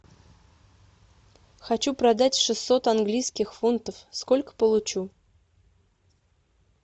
хочу продать шестьсот английских фунтов сколько получу